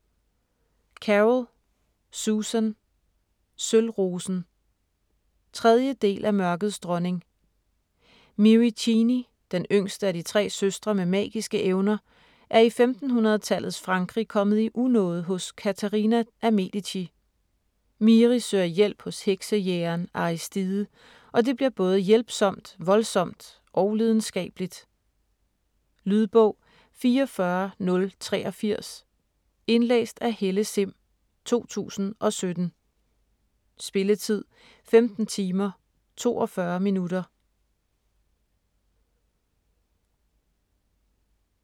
Carroll, Susan: Sølvrosen 3. del af Mørkets Dronning. Miri Cheney - den yngste af de tre søstre med magiske evner - er i 1500-tallets Frankrig kommet i unåde hos Katharina af Medici. Miri søger hjælp hos heksejægeren Aristide, og det bliver både hjælpsomt, voldsomt og lidenskabeligt. Lydbog 44083 Indlæst af Helle Sihm, 2017. Spilletid: 15 timer, 42 minutter.